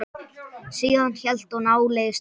Síðan hélt hún áleiðis til